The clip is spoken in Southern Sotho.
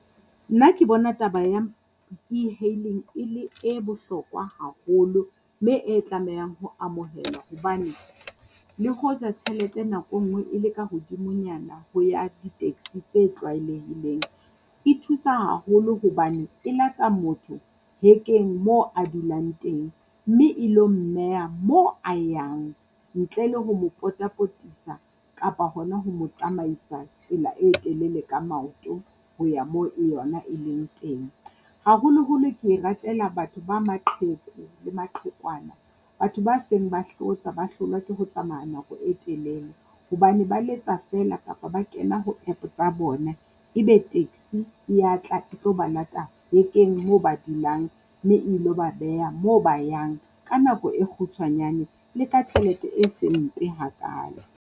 Nna ke bona taba ya e-hailing e le ebohlokwa haholo, mme e tlamehang ho amohelwa hobane. Le hoja tjhelete nako engwe e le ka hodimonyana ho ya di-taxi tse tlwaelehileng, e thusa haholo hobane e lata motho hekeng moo a dulang teng. Mme e ilo mmeha moo a yang ntle le ho mo potapotisa kapa hona ho mo tsamaisa tsela e telele ka maoto ho ya moo e yona e leng teng. Haholoholo ke e ratela batho ba maqheku le maqhekwana, batho ba seng ba hlotsa ba hlolwa ke ho tsamaya nako e telele, hobane ba letsa feela kapa ba kena ho App tsa bona. E be taxi e ya tla e tlo ba lata hekeng moo ba dulang, mme ilo ba beha moo ba yang ka nako e kgutshwanyane le ka tjhelete e se mpe hakaalo.